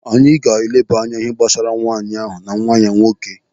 Anyị ga-eleba anya n'ihe gbasara nwaanyị ahụ na nwa ya nwoke.